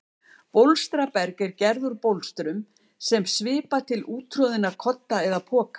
Bólstraberg er gert úr bólstrum sem svipar til úttroðinna kodda eða poka.